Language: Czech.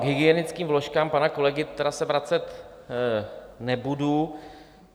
K hygienickým vložkám pana kolegy se tedy vracet nebudu.